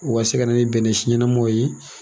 U ka se ka na ni bɛnɛsi ɲɛnamaw ye